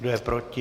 Kdo je proti?